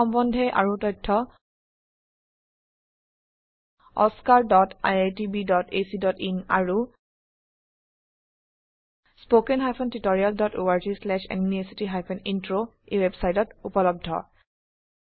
এই সম্বন্ধে আৰু তথ্য oscariitbacইন আৰু httpspoken tutorialorgNMEICT Intro ওয়েবসাইটত উপলব্ধ